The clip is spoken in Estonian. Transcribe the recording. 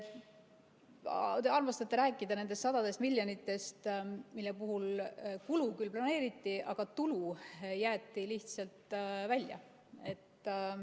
Te armastate rääkida nendest sadadest miljonitest, mille puhul kulu küll planeeriti, aga tulu jäeti lihtsalt välja.